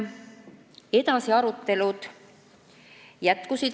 Edasi arutelud jätkusid.